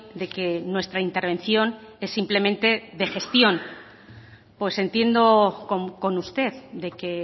de que nuestra intervención es simplemente de gestión pues entiendo con usted de que